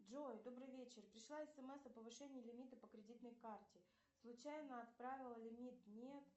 джой добрый вечер пришла смс о повышении лимита по кредитной карте случайно отправила лимит нет